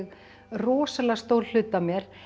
rosalega stór hluti af mér